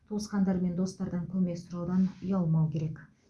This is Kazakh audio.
туысқандар мен достардан көмек сұраудан ұялмау керек